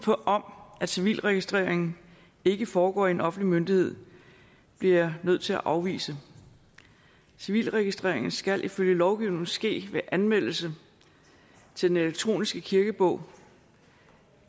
om at civilregistreringen ikke foregår hos en offentlig myndighed bliver jeg nødt til at afvise civilregistreringen skal ifølge lovgivningen ske ved anmeldelse til den elektroniske kirkebog